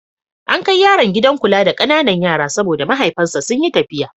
An kai yaron gidan kula da ƙananan yara saboda mahaifansa sun yi tafiya.